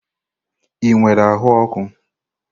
Ị nwere ahụ ọkụ?